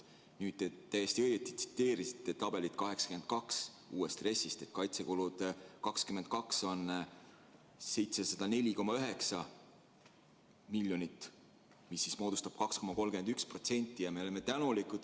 Nüüd te täiesti õigesti tsiteerisite uue RES-i tabelit 82, mille järgi kaitsekulud 2022. aastal on 704,9 miljonit eurot, mis moodustab 2,31%.